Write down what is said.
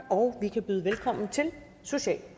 og vi kan byde velkommen til social